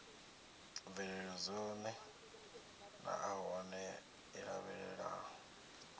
mvelelo dzone naanahone i lavhelela